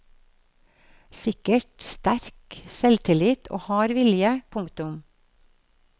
Sikkert sterk selvtillit og hard vilje. punktum